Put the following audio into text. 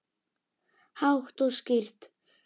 Hátt og skýrt.